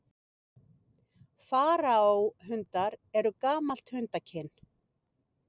Faraó-hundar eru gamalt hundakyn.